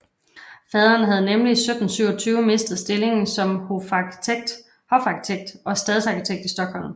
Faderen havde nemlig i 1727 mistet stillingen som hofarkitekt og stadsarkitekt i Stockholm